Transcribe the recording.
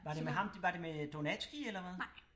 Var det med ham var det med Donatzky eller hvad?